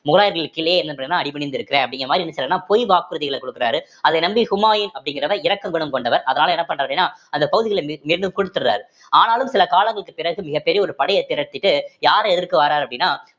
முகலாயர்களுக்கு கீழே என்ன பண்ணறேன்னா அடிபணிந்திருக்கிறேன் அப்படிங்கிற மாதிரி என்ன செய்யறாருன்னா பொய் வாக்குறுதிகளை கொடுக்கிறாரு அதை நம்பி ஹுமாயூன் அப்படிங்கிறவர் இரக்க குணம் கொண்டவர் அதனால என்ன பண்றாருன்னா அப்படின்னா அந்த பகுதியில மீண்~ மீண்டும் கொடுத்துடுறாரு ஆனாலும் சில காலங்களுக்கு பிறகு மிகப்பெரிய ஒரு படையை திரட்டிட்டு யாரை எதிர்க்க வர்றாரு அப்படின்னா